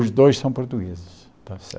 Os dois são portugueses.